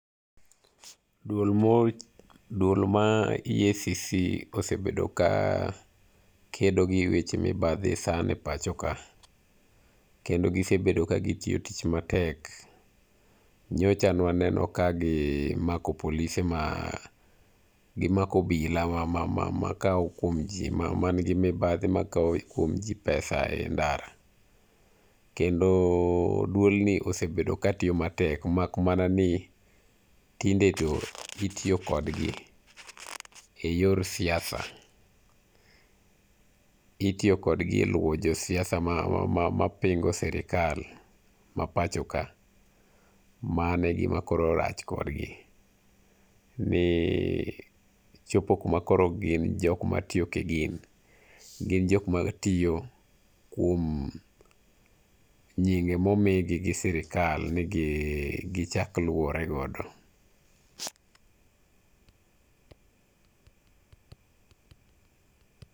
Duol mo duol mar EACC kosebedo ka kedo gi weche mibadhi sana epachokakendo gisebedo ka gitiyo tich matek. Nyocha ne waneno ka gimako polise ma gimako obila makawo kuom ji mani gi mibadhi makawo kuom ji pesa e ndara. Kendo duolni sebedo katiyo matek mak mana ni tinde to itiyo kodgi eyor siasa.- Itiyo kodgi eluwo jo siasa mapingo sirkal mapachoka. Mano e gima koro rach kodgi ni chopo kuma koro gin jok matiyo kigin. Gin jok matiyo kuom nyinge momigi gisirkal ni gichak luwore godo.